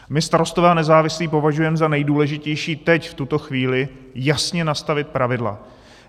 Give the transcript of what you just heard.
My Starostové a nezávislí považujeme za nejdůležitější teď v tuto chvíli jasně nastavit pravidla.